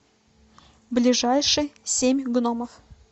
ближайший семь гномов